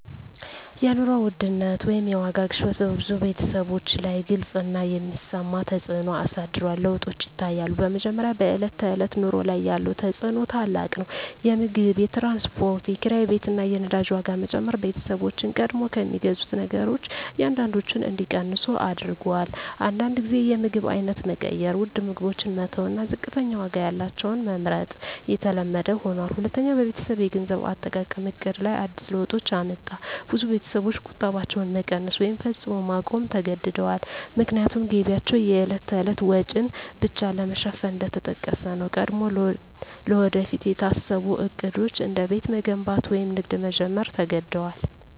የኑሮ ውድነት (የዋጋ ግሽበት) በብዙ ቤተሰቦች ላይ ግልጽ እና የሚሰማ ተፅዕኖ አሳድሯል። ለውጦች ይታያሉ፦ በመጀመሪያ፣ በዕለት ተዕለት ኑሮ ላይ ያለው ተፅዕኖ ታላቅ ነው። የምግብ፣ የትራንስፖርት፣ የኪራይ ቤት እና የነዳጅ ዋጋ መጨመር ቤተሰቦችን ቀድሞ ከሚገዙት ነገሮች አንዳንዶቹን እንዲቀንሱ አድርጎአል። አንዳንድ ጊዜ የምግብ አይነት መቀየር (ውድ ምግቦችን መተው እና ዝቅተኛ ዋጋ ያላቸውን መመርጥ) የተለመደ ሆኗል። ሁለተኛ፣ በቤተሰብ የገንዘብ አጠቃቀም ዕቅድ ላይ አዲስ ለውጦች አመጣ። ብዙ ቤተሰቦች ቁጠባቸውን መቀነስ ወይም ፈጽሞ ማቆም ተገድደዋል፣ ምክንያቱም ገቢያቸው የዕለት ተዕለት ወጪን ብቻ ለመሸፈን እየተጠቀሰ ነው። ቀድሞ ለወደፊት የታሰቡ ዕቅዶች፣ እንደ ቤት መገንባት ወይም ንግድ መጀመር፣ ተዘግደዋል።